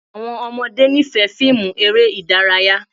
Àwọn ọmọde nifẹ fiimu ere idaraya